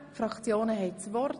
Die Fraktionen haben das Wort.